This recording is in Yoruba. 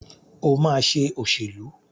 Ó máa ṣe òṣèlú.